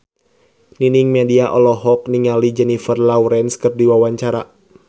Nining Meida olohok ningali Jennifer Lawrence keur diwawancara